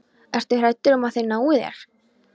Ertu hræddur um að þeir nái þér?